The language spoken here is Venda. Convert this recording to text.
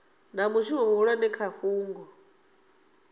na mushumo muhulwane kha fhungo